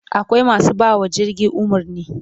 Akwai masu bawa jirgi umarni